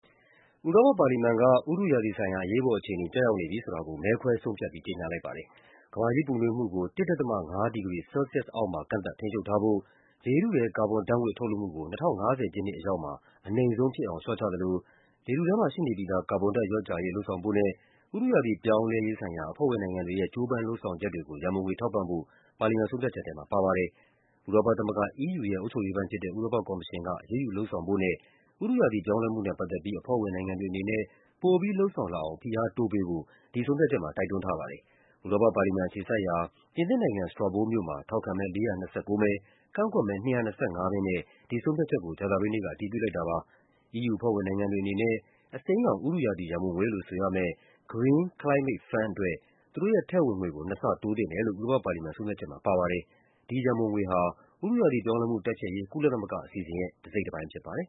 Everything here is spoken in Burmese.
ဥရောပပါလီမန်က “ဥတုရာသီဆိုင်ရာ အရေးပေါ်အခြေအနေ” ကျရောက်နေပြီဆိုတာကို မဲခွဲဆုံးဖြတ်ပြီး ကြေညာလိုက်ပါတယ်။ ကမ္ဘာကြီးပူနွေးမှုကို ၁.၅ ဒီဂရီ ဆဲလ်ဆီးယပ်စ်အောက်မှာ ကန့်သတ် ထိန်းချုပ်ထားဖို့၊ လေထုထဲ ကာဘွန်ဓာတ်ငွေ့ ထုတ်လွှတ်မှုကို ၂၀၅၀ ပြည့်နှစ်အရောက်မှာ အနိမ့်ဆုံးဖြစ်အောင် လျှော့ချသလို လေထုထဲမှာ ရှိနေပြီးသား ကာဘွန်ဓာတ်လျော့ကျရေး လုပ်ဆောင်ဖို့နဲ့ ဥတုရာသီပြောင်းလဲရေးဆိုင်ရာ အဖွဲ့ဝင်နိုင်ငံတွေရဲ့ ကြိုးပမ်းလုပ်ဆောင်ချက်တွေကို ရန်ပုံငွေထောက်ပံ့ဖို့ ပါလီမန် ဆုံးဖြတ်ချက်ထဲမှာ ပါပါတယ်။ ဥရောပသမဂ္ဂ (EU) ရဲ့ အုပ်ချုပ်ရေးပိုင်းဖြစ်တဲ့ ဥရောပကော်မရှင်က အရေးယူ လုပ်ဆောင်ဖို့နဲ့ ဥတုရာသီ ပြောင်းလဲမှုနဲ့ ပတ်သက်ပြီး အဖွဲ့ဝင်နိုင်ငံတွေ အနေနဲ့ ပိုပြီးလုပ်ဆောင်လာအောင် ဖိအားတိုးပေးဖို့ ဒီဆုံးဖြတ်ချက်မှာ တိုက်တွန်းထားပါတယ်။ ဥရောပပါလီမန် အခြေစိုက်ရာ ပြင်သစ်နိုင်ငံ၊ Strasbourg မြို့မှာ ထောက်ခံမဲ ၄၂၉ မဲ၊ ကန့်ကွက်မဲ ၂၂၅ မဲနဲ့ ဒီဆုံးဖြတ်ချက်ကို ကြာသပတေးနေ့က အတည်ပြုလိုက်တာပါ။ EU အဖွဲ့ဝင်နိုင်ငံတွေ အနေနဲ့ အစိမ်းရောင် ဥတုရာသီ ရန်ပုံငွေလို့ ဆိုရမယ့် Green Climate Fund အတွက် သူတို့ရဲ့ထည့်ဝင်ငွေကို နှစ်ဆတိုးသင့်တယ်လို့ ဥရောပပါလီမန် ဆုံးဖြတ်ချက်မှာ ပါရှိပါတယ်။ ဒီရန်ပုံငွေဟာ ဥတုရာသီပြောင်းလဲမှု တိုက်ဖျက်ရေး ကုလသမဂ္ဂ အစီအစဉ်ရဲ့ တစိတ်တပိုင်းဖြစ်ပါတယ်